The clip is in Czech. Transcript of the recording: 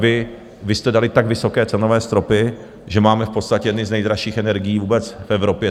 Vy jste dali tak vysoké cenové stropy, že máme v podstatě jedny z nejdražších energií vůbec v Evropě.